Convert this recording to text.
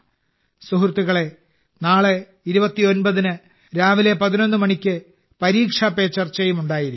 സുഹൃത്തുക്കളേ നാളെ 29 ന് രാവിലെ 11 മണിക്ക് പരീക്ഷാ പേ ചർച്ചയും ഉണ്ടായിരിക്കും